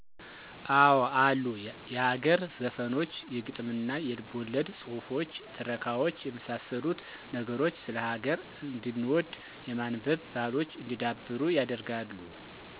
አወ አሉ የሀገር ዘፈኖች የግጥምና የልቦለድ ጹህፎች ትረካዋች የመሳሰሉት ነገሮች ስለ ሀገር እንድንወድ የማንበብ ባሕሎች እንዲዳብሩ ያደርጋሉ።